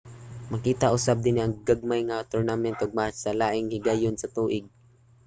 makita usab dinhi ang gagmay nga mga tournament ug match sa laing mga higayon sa tuig